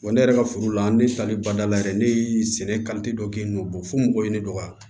ne yɛrɛ ka foro la ne tali badala yɛrɛ ne ye sɛnɛ dɔ k'i n'o fo mɔgɔ ye ne dɔgɔya